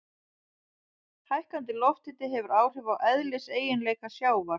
Hækkandi lofthiti hefur áhrif á eðliseiginleika sjávar.